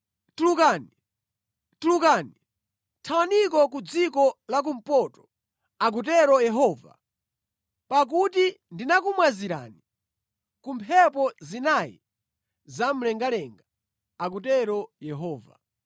“Tulukani! Tulukani! Thawaniko ku dziko la kumpoto,” akutero Yehova, “pakuti ndinakumwazirani ku mphepo zinayi zamlengalenga,” akutero Yehova.